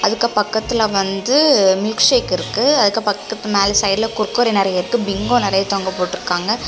இதுக்கு பக்கத்துல வந்து மில்க் ஷேக் இருக்கு அதுக்கு பக்கத்துல மேல சைடுல குர்குரே நிறைய இருக்கு பிங்கோ நறைய தொங்க போட்டுருக்காங்க.